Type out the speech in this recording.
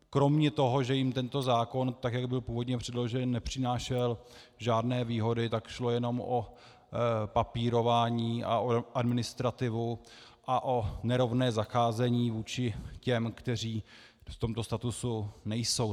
Kromě toho, že jim tento zákon, tak jak byl původně předložen, nepřinášel žádné výhody, tak šlo jenom o papírování a o administrativu a o nerovné zacházení vůči těm, kteří v tomto statusu nejsou.